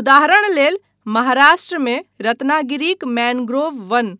उदाहरण लेल महाराष्ट्रमे रत्नागिरीक मैन्ग्रोव वन।